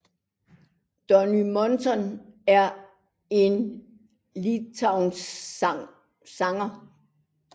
Donny Montell er en litauisk sanger